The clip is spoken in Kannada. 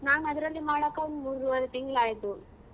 ನಾನ್ ಅದ್ರಲ್ಲಿ ಮಾಡಕ್ ಹೋಗಿ ಮೂರೂವರೆ ತಿಂಗ್ಳ್ ಆಯ್ತು.